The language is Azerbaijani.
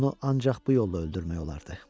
Onu ancaq bu yolla öldürmək olardı.